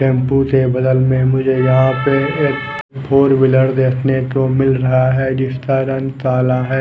Tempo के बगल मुझे यहाँ पे एक फोर व्हीलर देखने को मिल रहा है जिसका रंग काला है।